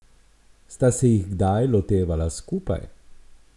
Sta se jih kdaj lotevala skupaj?